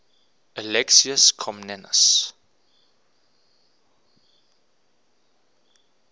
alexius comnenus